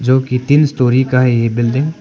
जो की तीन स्टोरी का है ये बिल्डिंग --